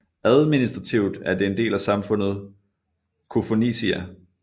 Administrativt er det en del af samfundet Koufonisia